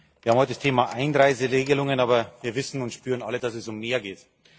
Wir haben heute das Thema Einreiseregelungen, aber wir wissen und spüren alle, dass es um mehr geht.